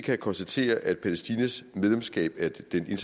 jeg konstatere at palæstinas medlemskab af den